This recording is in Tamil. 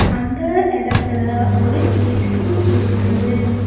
அந்த இடத்துல ஒரு ஏ_சி இருக்குது.